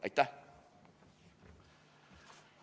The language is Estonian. Aitäh!